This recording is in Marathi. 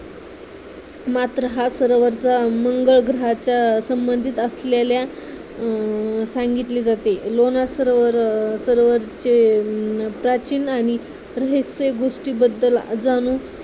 मात्र हा सरोवराचा मंगळ ग्रहाचा संबंधित असलेल्या सांगितली जाते लोणार सरोवर सरोवरचे प्राचीन आणि रहस्य गोष्टीबद्दल जाणू